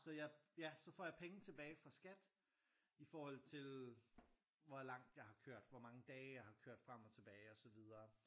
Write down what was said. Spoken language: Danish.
Så jeg ja så får jeg penge tilbage fra Skat i forhold til hvor langt jeg har kørt hvor mange dage jeg har kørt frem og tilbage og så videre